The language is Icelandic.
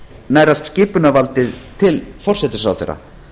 nær allt skipunarvaldið til forsætisráðherra